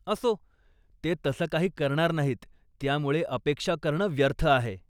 असो, ते तसं काही करणार नाहीत, त्यामुळे अपेक्षा करणं व्यर्थ आहे.